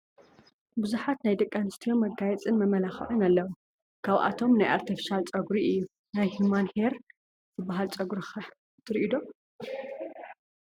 ብዙሓት ናይ ደቂ ኣንስትዮ መጋየፅ መመላኽዕን ኣለው፡፡ ካብኣቶም ናይ ኣርቴፊሻል ፀጉሪ እዩ፡፡ ናይ ሂሟን ኤይር ዝባሃል ፀጉሪ ኸ ትሪኡ ዶ?